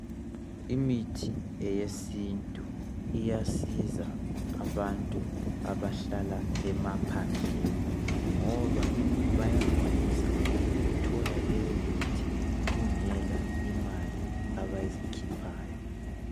Imithi eyesintu iyasiza abantu abahlala emaphandleni ngoba bayakwanisa ukuthola leyo mithi kungela imali abazikhiphayo.